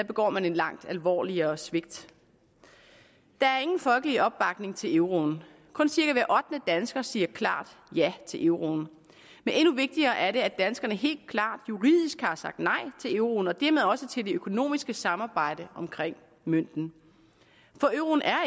begår man et langt alvorligere svigt der er ingen folkelig opbakning til euroen kun cirka hver ottende dansker siger klart ja til euroen men endnu vigtigere er det at danskerne helt klart juridisk har sagt nej til euroen og dermed også til det økonomiske samarbejde omkring mønten for euroen er